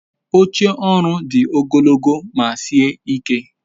oche oru di ogologo ma sie ike